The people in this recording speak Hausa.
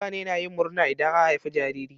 Mutane na yin murna idan an haifi jariri.